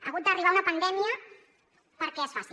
ha hagut d’arribar una pandèmia perquè es faci